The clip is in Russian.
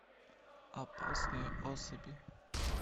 опасные особи